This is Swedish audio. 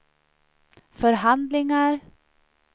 förhandlingar